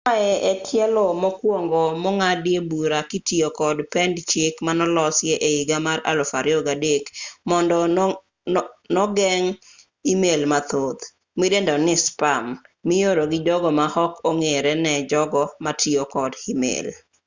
ma e tielo mokwongo mong'adie bura kitiyo kod pend chik manolosi e higa mar 2003 mondo nogeng' email mathoth midendo ni spam mioro gi jogo ma ok ong'ere ne jogo matiyo kod email